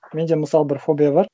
менде мысалы бір фобия бар